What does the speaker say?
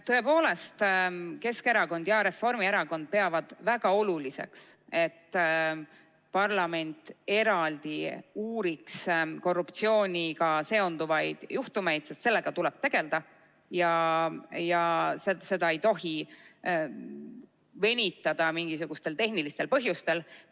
Tõepoolest, Keskerakond ja Reformierakond peavad väga oluliseks, et parlament eraldi uuriks korruptsiooniga seonduvaid juhtumeid, sest sellega tuleb tegelda ja seda ei tohi venitada mingisugustel tehnilistel põhjustel.